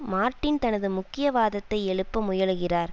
Martin தனது முக்கிய வாதத்தை எழுப்ப முயலுகிறார்